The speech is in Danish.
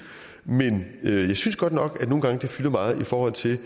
jeg synes godt nok at det nogle gange fylder meget i forhold til